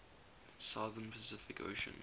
southern pacific ocean